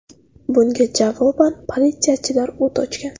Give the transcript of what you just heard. Bunga javoban politsiyachilar o‘t ochgan.